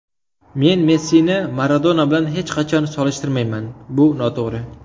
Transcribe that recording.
Men Messini Maradona bilan hech qachon solishtirmayman, bu noto‘g‘ri.